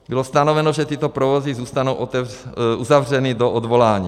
Bylo stanoveno, že tyto provozy zůstanou uzavřeny do odvolání.